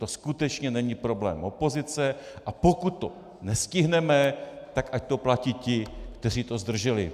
To skutečně není problém opozice, a pokud to nestihneme, tak ať to platí ti, kteří to zdrželi.